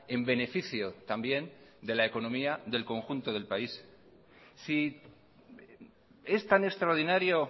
en beneficio también de la economía del conjunto del país si es tan extraordinario